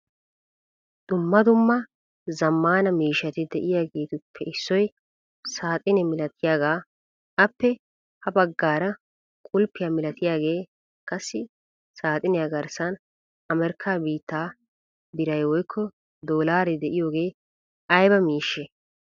Dumma dumma zamaana miishshati deiyagetuppe issoy saxine milatiyaga, appe ha baggaara qulppiya milattiyage, qassi saxiniyaa garssan Amerika biitaa biray woykko dollare dieyoge ayba miishshe?